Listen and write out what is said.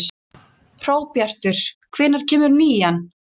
Hróbjartur, hvenær kemur nían?